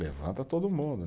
Levanta todo mundo.